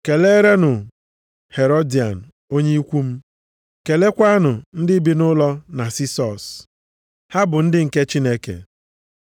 Keleerenụ m Herodian onye ikwu m. Keleekwanụ ndị bi nʼụlọ Nasisọs. Ha bụ ndị nke Chineke.